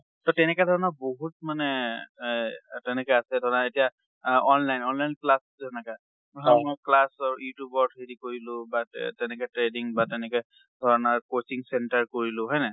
so, তেনেকে ধৰণৰ বহুত মানে এই তেনেকে আছে । ধৰা এতিয়া আ online, online class ও আছে হেনেকে। class YouTube ৰ throughদি কৰিলো বা তেনেকে trading বা তেনেকে ধৰনৰ coaching center কৰিলো। হয় নাই?